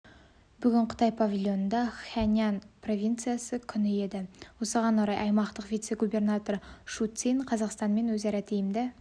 бүгін қытай павильонында хэнань провинциясының күні еді осыған орай аймақтың вице-губернаторы шу цинь қазақстанмен өзара тиімді